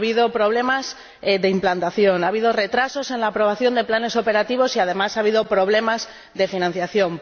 Ha habido problemas de implantación, ha habido retrasos en la aprobación de los planes operativos y, además, ha habido problemas de financiación.